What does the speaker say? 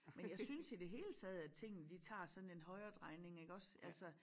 Men jeg synes i det hele taget at tingene de tager sådan en højredrejning iggås altså